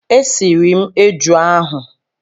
E siri m eju ahụ.